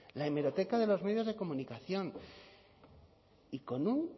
la hemeroteca de los medios de comunicación y con un